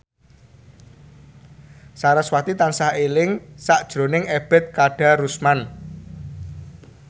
sarasvati tansah eling sakjroning Ebet Kadarusman